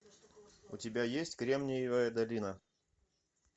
у тебя есть кремниевая долина